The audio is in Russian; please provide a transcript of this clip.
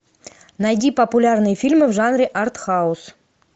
найди популярные фильмы в жанре артхаус